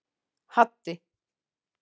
Haddi